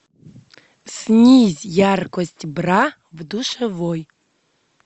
снизь яркость бра в душевой